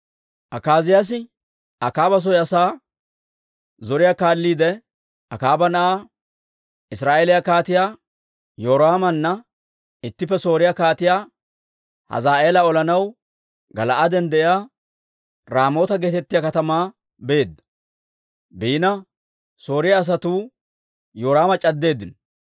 Akaaziyaasi Akaaba soy asaa zoriyaa kaalliide, Akaaba na'aa Israa'eeliyaa Kaatiyaa Yoraamana ittippe, Sooriyaa Kaatiyaa Hazaa'eela olanaw Gala'aaden de'iyaa Raamoota geetettiyaa katamaa beedda. Sooriyaa asatuu Yoraama c'addeeddino.